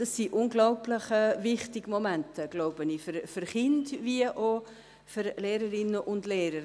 Es sind, so glaube ich, unglaublich wichtige Momente für Kinder wie auch für Lehrerinnen und Lehrer.